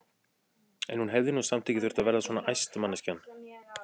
En hún hefði nú samt ekki þurft að verða svona æst, manneskjan!